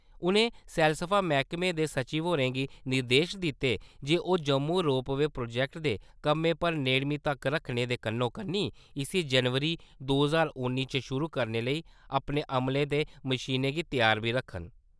उनें सैलसफा मैह्कमे दे सचिव होरें गी निर्देश दित्ते जे ओह् जम्मू रोप-वे प्रोजेक्ट दे कम्मै पर नेड़मी तक्क रक्खने दे कन्नो-कन्नी इसी जनवरी दो ज्हार उन्नी च शुरू करने लेई अपने अमले ते मशीनें गी तैयार बी रक्खन।